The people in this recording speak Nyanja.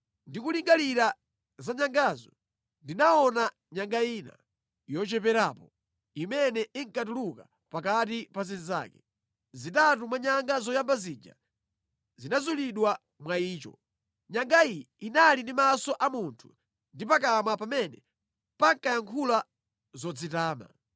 “Ndikulingalira za nyangazo, ndinaona nyanga ina, yocheperapo, imene inkatuluka pakati pa zinzake. Zitatu mwa nyanga zoyamba zija zinazulidwa mwa icho. Nyanga iyi inali ndi maso a munthu ndi pakamwa pamene pankayankhula zodzitama.